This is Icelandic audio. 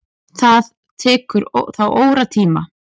Það tekur þá óratíma.